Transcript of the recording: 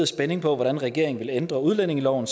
spænding på hvordan regeringen ville ændre udlændingeloven